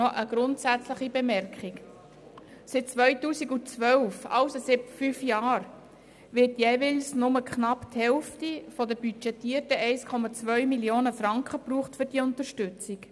Seit 2012, also seit fünf Jahren, wird für diese Unterstützung jeweils nur knapp die Hälfte der budgetierten rund 1,2 Mio. Franken verwendet.